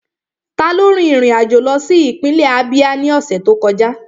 Taló rin ìrìn àjò lọ sí ìpínlẹ̀ Ábíá ní ọ̀sẹ̀ tó kọjá?